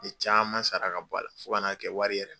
N ye caman sara ka bɔ a la fo ka na kɛ wari yɛrɛ